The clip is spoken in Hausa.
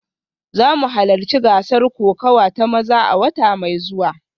Za mu halarci gasar kokawa ta maza a wata mai zuwa